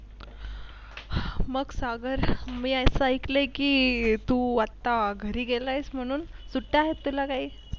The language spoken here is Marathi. मग सागर मी असा ऐकले की तू आत्ता घरी गेलायस म्हणून सुट्टी आहे तुला काही?